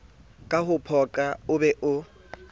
ka ho phoqa oo be